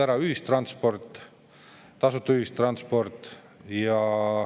Seda enam, et kaotati ära tasuta ühistransport.